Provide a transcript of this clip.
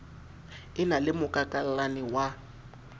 e na le mokakallane wa